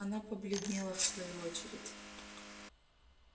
она побледнела в свою очередь